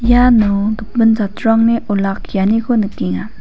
iano gipin jatrangni olakkianiko nikenga.